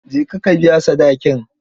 Je ka ka biya sadakin.